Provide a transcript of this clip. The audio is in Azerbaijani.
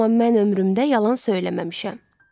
Amma mən ömrümdə yalan söyləməmişəm.